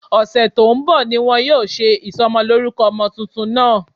Ọ̀sẹ̀ tó ń bọ̀ ni wọn yóò ṣe ìsọmọlórúkọ ọmọ tuntun náà